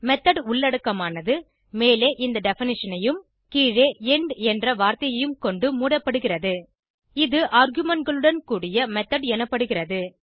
method உள்ளடக்கமானது மேலே இந்த டெஃபினிஷன் ஐயும் கீழே எண்ட் என்ற வார்த்தையும் கொண்டு மூடப்படுகிறது இது argumentகளுடன் கூடிய மெத்தோட் எனப்படுகிறது